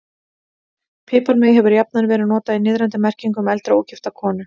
Piparmey hefur jafnan verið notað í niðrandi merkingu um eldri, ógifta konu.